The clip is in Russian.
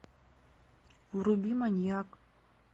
вруби маньяк